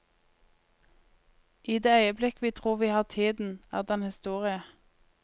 I det øyeblikk vi tror vi har tiden, er den historie.